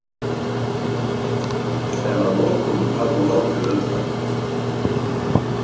En að lokum hafði hún látið undan.